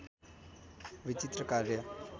विचित्र कार्य